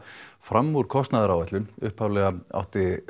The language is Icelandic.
fram úr kostnaðaráætlun upphaflega átti